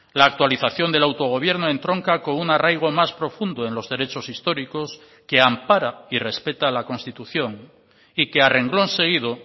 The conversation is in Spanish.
la actualización del autogobierno entronca con un arraigo más profundo en los derechos históricos que ampara y respeta la constitución y que a renglón seguido